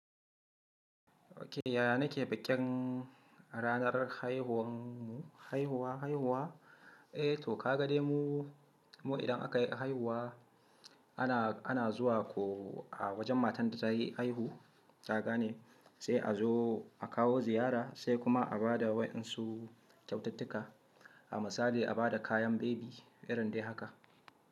Okay, yaya nake bikin ranar haihuwan mu, haihuwa, haihuwa? Eh toh, ka ga dai mu, mu idan aka yi haihuwa, ana, ana zuwa ko a wajen matan da ta yi haihu, ka gane sai a zo a kawo ziyara sai kuma a ba da waɗannsu kyaututtuka. A misali a ba da kayan baby, irin dai haka.